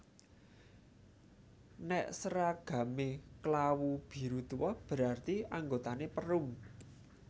Nek seragame klawu biru tuo berarti anggotane Perum